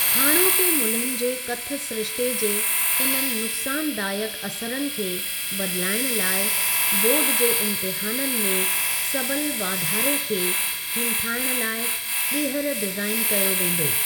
हाणोके मुल्हनि जे कथ सिरिश्ते जे इननि नुक्सानदायक असरनि खे बदिलाइण लाइ बोर्ड जे इम्तहाननि में सबल वाधारे खे हिमथाइण लाइ ॿीहर डिज़ाईन कयो वेंदो।